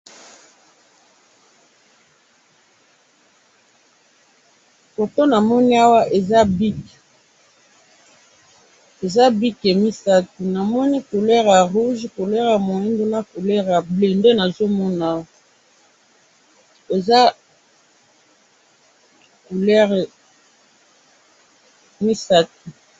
Photo namoni awa, eza bic, eza bic misatu. namoni couleur ya rouge, couleur ya muindu na couleur ya bleu nde nazo mona awa, eza couleur misatu.